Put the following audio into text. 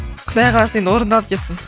құдай қаласа енді орындалып кетсін